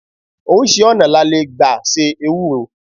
5. Oríṣi ọ̀nà la le gba se Ewúro.